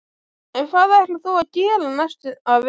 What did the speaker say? En hvað ætlar þú að gera næsta vetur?